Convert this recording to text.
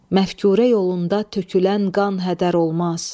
Məfkürə yolunda tökülən qan hədər olmaz.